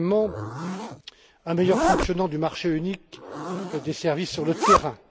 Deuxièmement, un meilleur fonctionnement du marché unique des services sur le terrain.